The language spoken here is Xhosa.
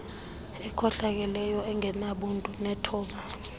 ekhohlakeleyo engenabuntu nethoba